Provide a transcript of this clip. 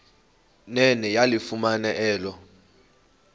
nene yalifumana elo